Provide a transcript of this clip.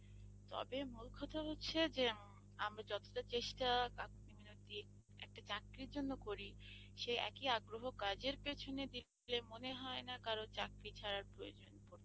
তবে মূল কথা হচ্ছে যে আমরা যতটা চেষ্টা কাকুতি মিনতি একটা চাকরির জন্য করি সেই একই আগ্রহ কাজের পেছনে দিলে মনে হয় না কারো চাকরি ছাড়ার প্রয়োজন পড়তো।